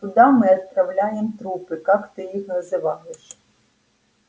туда мы отправляем трупы как ты их называешь